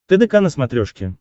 тдк на смотрешке